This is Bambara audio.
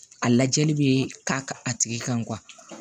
A lajɛli bɛ k'a a tigi kan